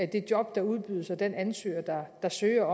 det job der udbydes og den ansøger der søger